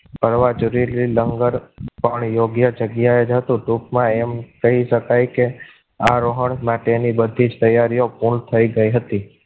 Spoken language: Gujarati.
ભરવા જરૂરી લંગર કોણ યોગ્ય જગ્યાએ હતું ટૂંકમાં એમ કહી શકાય કે આરોહણ માટે ની બધી જ તૈયારીઓ પૂર્ણ થઈ ગઈ હતી.